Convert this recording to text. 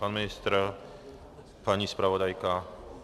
Pan ministr, paní zpravodajka?